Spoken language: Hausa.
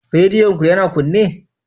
Rediyon ku yana kunne?